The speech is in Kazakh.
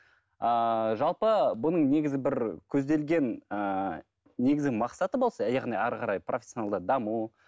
ааа жалпы бұның негізі бір көзделген ыыы негізі мақсаты болса яғни ары қарай профессионалды даму